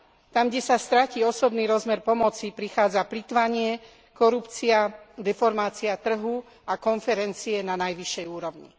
Tam, kde sa stratí osobný rozmer pomoci, prichádza plytvanie, korupcia, deformácia trhu a konferencie na najvyššej úrovni.